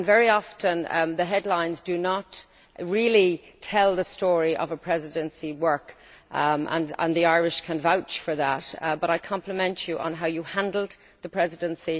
Often the headlines do not really tell the story of a Presidency's work and the Irish can vouch for that but I compliment you on how you handled the Presidency.